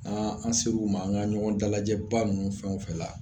an ser'u ma an ŋa ɲɔgɔn dalajɛba ninnu fɛn o fɛ la